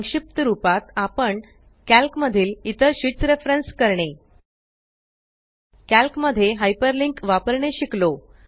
संक्षिप्त रुपात आपण कॅल्क मधील इतर शीट्स रेफरेन्स करणे कॅल्क मध्ये हायपर लिंक वापरणे शिकलो